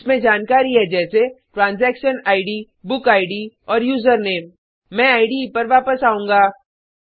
इसमें जानकारी है जैसे ट्रांजैक्शन इद बुक इद और यूजरनेम मैं इडे पर वापस आऊँगा